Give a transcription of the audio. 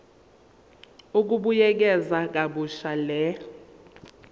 ukubuyekeza kabusha le